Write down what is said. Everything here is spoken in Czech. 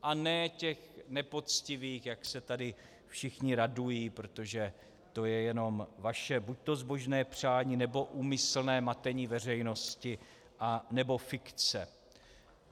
A ne těch nepoctivých, jak se tady všichni radují, protože to je jenom vaše buďto zbožné přání, nebo úmyslné matení veřejnosti, anebo fikce.